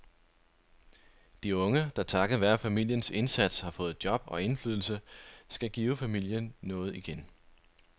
De unge, der takket være familiens indsats har fået job og indflydelse, skal give familien noget igen.